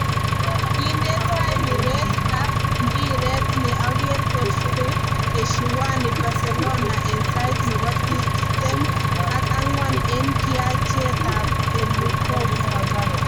Kinte tai piret ab mpiree ne ang'er Godfrey Eshiwani Barcelona eng sait ne bo tiptem ak ang'wan eng kianchekab Elukove.